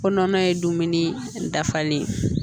Ko nɔnɔ ye dumuni dafalen